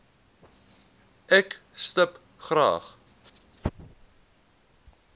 ek stip graag